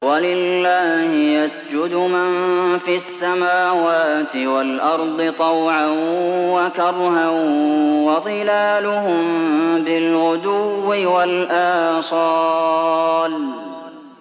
وَلِلَّهِ يَسْجُدُ مَن فِي السَّمَاوَاتِ وَالْأَرْضِ طَوْعًا وَكَرْهًا وَظِلَالُهُم بِالْغُدُوِّ وَالْآصَالِ ۩